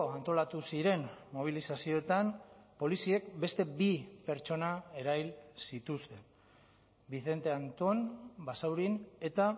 antolatu ziren mobilizazioetan poliziek beste bi pertsona erahil zituzten vicente anton basaurin eta